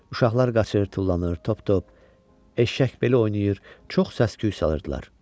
Uşaqlar qaçır, tullanır, top-top, eşşək beli oynayır, çox səs-küy salırdılar.